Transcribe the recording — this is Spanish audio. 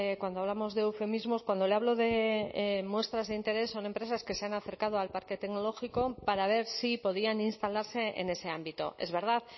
cuando hablamos de eufemismos cuando le hablo de muestras de interés son empresas que se han acercado al parque tecnológico para ver si podían instalarse en ese ámbito es verdad